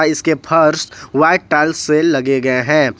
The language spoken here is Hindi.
इसके फर्श व्हाइट टाइल्स से लगे गए हैं।